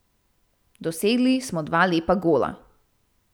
Dosegli smo dva lepa gola.